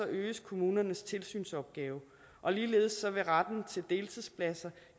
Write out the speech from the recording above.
øges kommunernes tilsynsopgave og ligeledes vil retten til deltidspladser